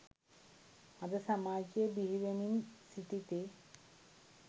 අද සමාජයේ බිහිවෙමින් සිටිති.